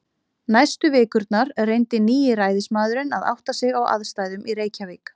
Næstu vikurnar reyndi nýi ræðismaðurinn að átta sig á aðstæðum í Reykjavík.